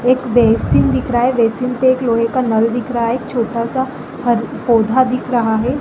एक बेसिन दिख रहा है बेसिन पे एक लोहे का नल दिख रहा है एक छोटा सा पौधा दिख रहा है ।